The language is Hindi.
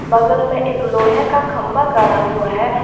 बगल में एक लोहे का खंभा गाड़ा हुआ है।